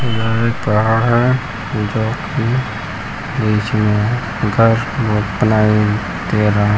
यह एक पहाड़ है जो की बिच में है घर भोत बनाई दे रहा --